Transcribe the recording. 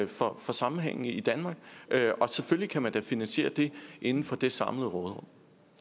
for sammenhængen i danmark og selvfølgelig kan man da finansiere det inden for det samlede råderum